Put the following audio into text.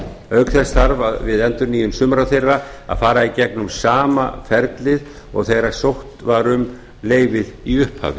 auk þess þarf við endurnýjun sumra þeirra að fara í gegnum sama ferlið og þegar sótt var um leyfið í upphafi